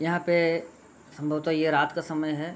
यहाँ पे संभवतः यह रात समय है।